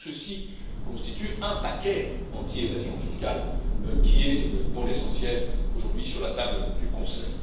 Tout ceci constitue un paquet anti évasion fiscale qui est, pour l'essentiel, aujourd'hui sur la table du Conseil.